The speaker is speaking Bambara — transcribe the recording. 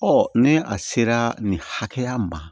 ni a sera nin hakɛya ma